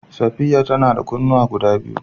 Safiya ta na da kunnuwa guda biyu.